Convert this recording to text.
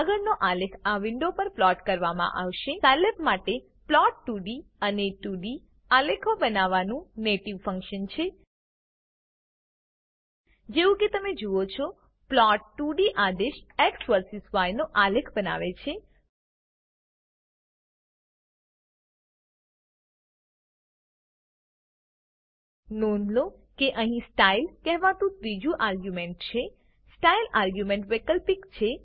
આગળનો આલેખ આ વિન્ડો પર પ્લોટ કરવામાં આવશે સાયલેબ માટે પ્લોટ 2ડી એ 2ડી આલેખો બનાવવા માટેનું નેટીવ ફંક્શન છે જેવું કે તમે જુઓ છો plot2ડી આદેશ એક્સ વર્સીસ ય નો આલેખ બનાવે છે નોંધ લો કે અહીં સ્ટાઇલ કહેવાતું ત્રીજુ આર્ગ્યુંમેંટ છે સ્ટાઇલ આર્ગ્યુંમેંટ વૈકલ્પિક છે